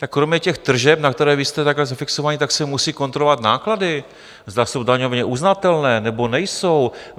Tak kromě těch tržeb, na které vy jste takhle zafixováni, tak se musí kontrolovat náklady, zda jsou daňově uznatelné, nebo nejsou.